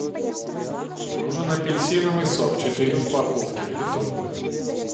нужен апельсиновый сок четыре упаковки литровые